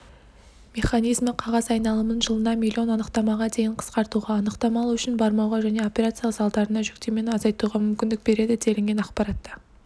механизмі қағаз айналымын жылына миллион анықтамаға дейін қысқартуға анықтама алу үшін бармауға және операциялық залдарына жүктемені азайтуға мүмкіндік береді делінген ақпаратта